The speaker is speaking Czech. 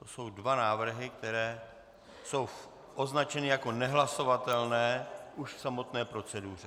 To jsou dva návrhy, které jsou označeny jako nehlasovatelné už v samotné proceduře.